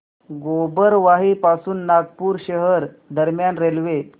गोबरवाही पासून नागपूर शहर दरम्यान रेल्वे